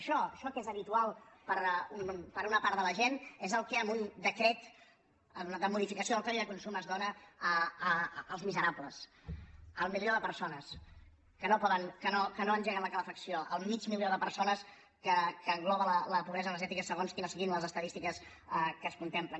això això que és habitual per a una part de la gent és el que amb un decret de modificació del codi de consum es dóna als miserables al milió de persones que no engeguen la calefacció al mig milió de persones que engloba la pobresa energètica segons quines siguin les estadístiques que es contemplen